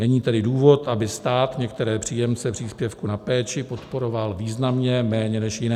Není tedy důvod, aby stát některé příjemce příspěvku na péči podporoval významně méně než jiné.